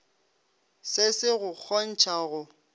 se se go kgontšha go